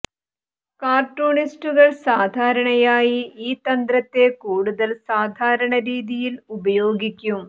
കാർട്ടൂണിസ്റ്റുകൾ സാധാരണയായി ഈ തന്ത്രത്തെ കൂടുതൽ സാധാരണ രീതിയിൽ ഉപയോഗിക്കും